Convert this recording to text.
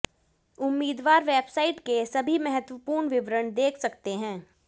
उममीदवार website के सभी महत्वपूर्ण विवरण देख सकते हैं